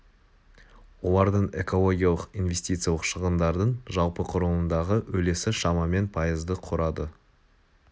олардың экологиялық инвестициялық шығындардың жалпы құрылымындағы үлесі шамамен пайызды құрады